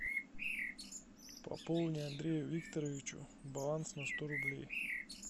пополни андрею викторовичу баланс на сто рублей